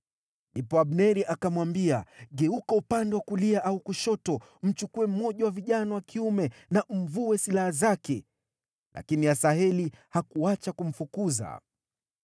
Ndipo Abneri akamwambia, “Geuka upande wa kulia au kushoto. Mchukue mmoja wa vijana wa kiume na umvue silaha zake.” Lakini Asaheli hakuacha kumfukuza.